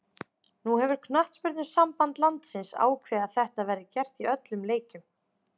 Nú hefur knattspyrnusamband landsins ákveðið að þetta verði gert í öllum leikjum.